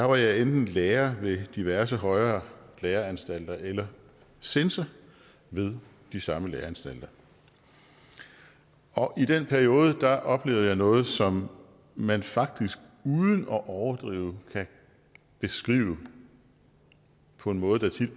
var jeg enten lærer ved diverse højere læreanstalter eller censor ved de samme læreanstalter og i den periode oplevede jeg noget som man faktisk uden at overdrive kan beskrive på en måde der tit